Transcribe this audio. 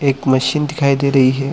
एक मशीन दिखाई दे रही है।